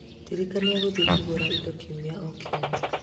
Ndirikania gũthiĩ kũgũra indo kiumia o kiumia